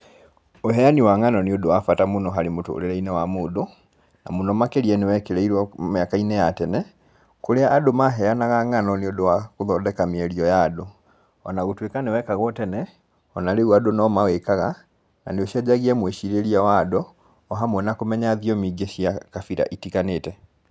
Ũheani wa ng'ano nĩ ũndũ wa bata mũno harĩ mũtũrire wa mũndũ, na mũno nĩ wekĩrĩirwo mũno mĩaka-inĩ ya tene, kũrĩa andũ maheanaga ng'ano nĩ ũndũ wa gũthondeka mĩario ya andũ. O na gũtuĩka nĩ wekagwo tene, o na rĩu andũ no mawĩkaga, na nĩ ũcenjagia mwĩcirĩrie wa andũ, o hamwe na kũmenya thiomi ingĩ cia kabira itiganĩte.